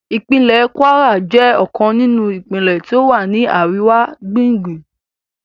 Ìpínlẹ̀ Kwara jẹ́ ọ̀kan nínú ìpínlẹ́ tí ó wà ní àríwá-ààringbùngbùn